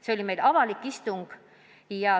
See oli meil avalik istung.